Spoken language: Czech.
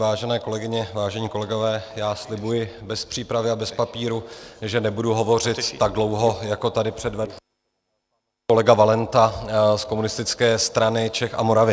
Vážené kolegyně, vážení kolegové, já slibuji, bez přípravy a bez papíru, že nebudu hovořit tak dlouho, jako tady předvedl kolega Valenta z Komunistické strany Čech a Moravy.